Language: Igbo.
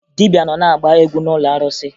Dibịa nọ na-agba egwu n'ụlọ arụsị